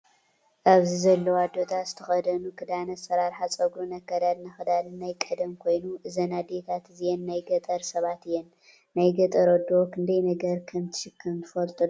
ኣብዚ ዘለዋ ኣዶታት ዝተከደነኦ ክዳን ኣሰራርሓ ፀጉርን ኣከዳድና ክዳን ናይ ቀደም ኮይኑ እዘን ኣዴታት እዚኣን ናይ ገጠር ሰባት እየን። ናይ ገጠር ኣዶ ክንዳይ ነገር ከም እትሽከም ትፈልጡ ዶ?